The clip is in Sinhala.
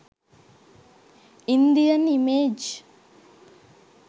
indian image